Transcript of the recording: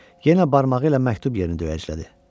Yenə barmağı ilə məktub yerini döyəclədi.